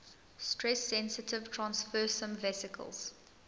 stress sensitive transfersome vesicles